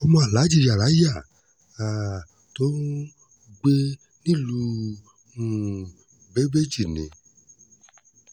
ọmọ aláàjì yaràyà um tó ń gbé nílùú um bébéji ni